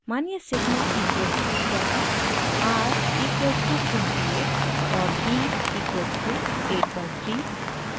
मानिये sigma equals to 10 r equals to 28 और b equals to 8/3